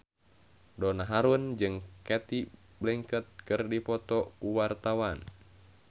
Donna Harun jeung Cate Blanchett keur dipoto ku wartawan